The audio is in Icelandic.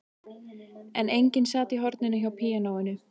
En enginn sat í horninu hjá píanóinu.